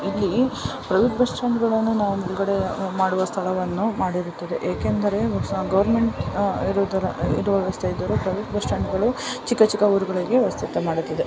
ಇಲ್ಲಿ private bus stand ಗಳನ್ನು ನಾವು ವಿಂಗಡಣೆ ಮಾಡುವ ಸ್ಥಳವನ್ನು ಮಾಡಿರುತ್ತದೆ. ಏಕೆಂದರೆ ಗವರ್ನಮೆಂಟ್ ಅಹ್ ಇರೋ ತರ ಇರುವ ವ್ಯವಸ್ಥೆಇದ್ದರು ಪ್ರೈವೇಟ್ ಬಸ ಸ್ಟ್ಯಾಂಡ್ಗ ಳು ಚಿಕ್ಕ ಚಿಕ್ಕ ಊರುಗಳಿಗೆ ವ್ಯವಸ್ಥಿತ ಮಾಡುತ್ತಿದೆ.